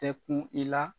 Tɛ kun i la